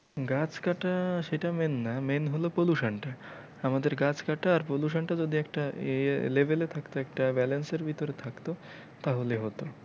গাছ কাটা সেটা main না main হলো pollution টা আমাদের গাছ কাটা আর pollution টা যদি একটা ইয়ে level এ থাকতো একটা balance এর ভিতরে থাকতো তাহলে হতো।